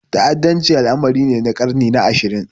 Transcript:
Ta'addanci al'amari ne na ƙarni na ashirin.